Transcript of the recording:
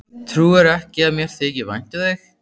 Trúirðu ekki að mér þyki vænt um þig?